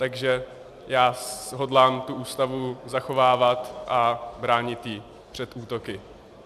Takže já hodlám tu Ústavu zachovávat a bránit ji před útoky.